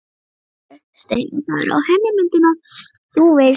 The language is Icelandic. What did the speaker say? Í alvöru, Steini. það eru á henni myndirnar þú veist.